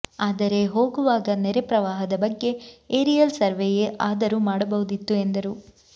ಆದರೆ ಹೋಗುವಾಗ ನೆರೆ ಪ್ರವಾಹದ ಬಗ್ಗೆ ಏರಿಯಲ್ ಸರ್ವೆ ಆದರೂ ಮಾಡಬಹುದಿತ್ತು ಎಂದರು